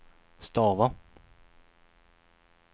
stava